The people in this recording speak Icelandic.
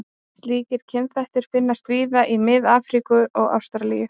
Slíkir kynþættir finnast víða í Mið-Afríku og Ástralíu.